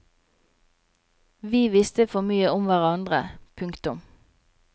Vi visste for mye om hverandre. punktum